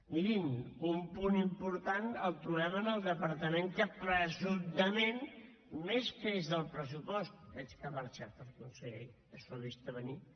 mirin un punt important el trobem en el departament que presumptament més creix del pressupost veig que ha marxat el conseller que s’ho ha vist a venir